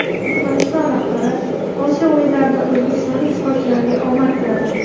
Turkmaniston rahbari Osiyo o‘yinlarida o‘zbekistonlik sportchilarga omad tiladi.